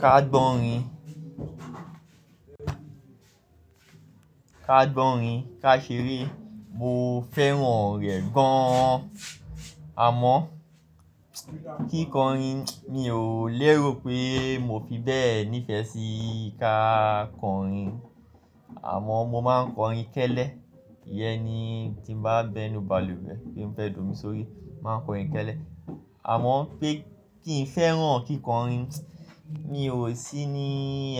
Ká gbọ́ orin, ká ṣeré mo fẹ́ràn rẹ̀ gaan. Àmọ́, kíkọrin mi ò lérò pé mo fi bẹ́ẹ̀ nífẹ̀ẹ́ sí ká kọrin, àmọ́ mo máa ń kọrin kẹ́lẹ́. Íyẹn ni tí bá ń bẹnu balùwẹ̀ pé mofẹ́ d' omí sórí, máa ń kọrin kẹ́lẹ́. Àmọ́ pé kí n fẹ́ràn kíkọrin, mi ò sí ní